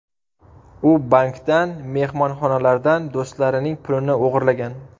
U bankdan, mehmonxonalardan, do‘stlarining pulini o‘g‘irlagan.